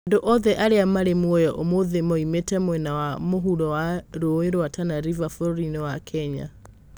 Andũ othe arĩa marĩ muoyo ũmũthĩ moimĩte mwena wa mũvuro wa rũũĩ rwa Tana River bũrũri-inĩ wa Kenya